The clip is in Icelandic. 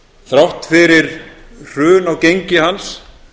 þrátt fyrir hrun á gengi hans